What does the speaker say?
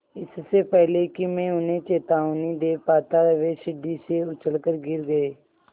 इससे पहले कि मैं उन्हें चेतावनी दे पाता वे सीढ़ी से उलझकर गिर गए